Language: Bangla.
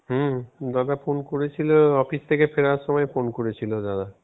হম দাদা phone করেছিল Office থেকে ফেরার সময় Phone করেছিল দাদা.